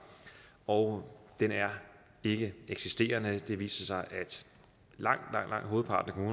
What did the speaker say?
og den er ikkeeksisterende det viser sig at langt hovedparten